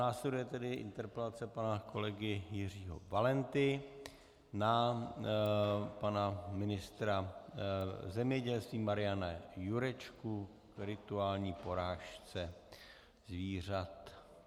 Následuje tedy interpelace pana kolegy Jiřího Valenty na pana ministra zemědělství Mariana Jurečku k rituální porážce zvířat.